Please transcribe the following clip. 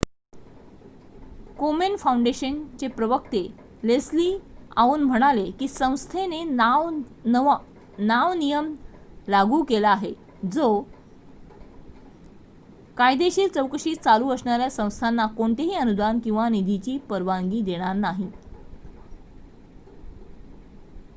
कोमेन foundation चे प्रवक्ते Leslie Aun म्हणाले की संस्थेने नाव नियम लागू केला आहे जो कायदेशीर चौकशी चालू असणाऱ्या संस्थाना कोणतेही अनुदान किंवा निधीची परवानगी देणार नाही